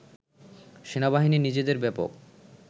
সেনাবাহিনী নিজেদের ব্যাপক